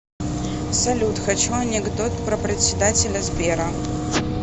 салют хочу анекдот про председателя сбера